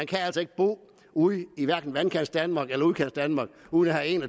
kan altså ikke bo ude i hverken vandkantsdanmark eller udkantsdanmark uden at have en